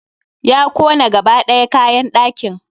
Ya kona gaba ɗaya kayan ɗakin.